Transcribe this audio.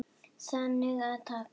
Þannig að takk.